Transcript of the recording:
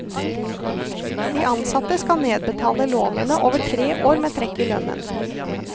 De ansatte skal nedbetale lånene over tre år med trekk i lønnen.